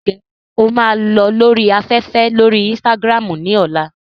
Ǹjẹ́ o máa lọ lórí afẹ́fẹ́ lórí Instagram ní ọ̀la?